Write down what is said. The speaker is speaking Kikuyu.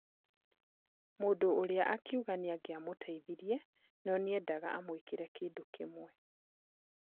Mũndũ ũrĩa akiuga nĩangiamũteithirie no nĩendaga amwĩkĩre kĩndũ kĩmwe.